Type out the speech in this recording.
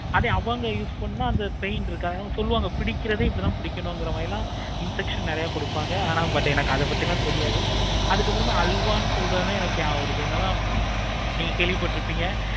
அதே அவங்க use பண்ண அந்த paint இருக்காது. சொல்வாங்க பிடிக்கிறது இந்த மாதிரி தான் பிடிக்கணும் இல்லைனா infection நெறைய கொடுப்பாங்க but எனக்கு அத பத்தி எல்லாம் தெரியாது. அதுக்கு அப்பறம் அல்வா சொல்றது எனக்கு எப்பக்கம் வருது. நீங்க கேள்வி பட்டு இருப்பிங்க.